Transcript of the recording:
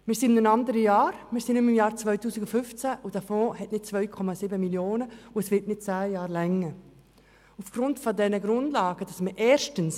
Wir sind nicht mehr im Jahr 2015, der Fonds enthält nicht 2,7 Mio. Franken, und das Geld wird nicht zehn Jahre ausreichen.